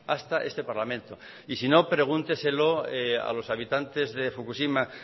hasta este parlamento y si no pregúnteselo a los habitantes de fukushima